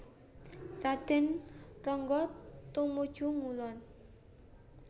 Raden Ronggo tumuju ngulon